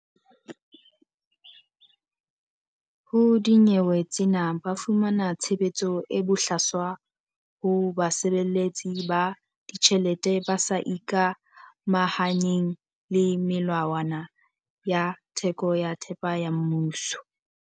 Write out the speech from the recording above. Ho dinyewe tsena ba fumana tshebetso e bohlaswa ho basebeletsi ba ditjhelete ba sa ikamahanyeng le melawana ya theko ya thepa ya mmuso.